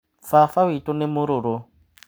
Baba witũ nĩ mũrũrũ.